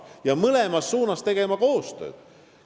Me peame mõlemas suunas koostööd tegema.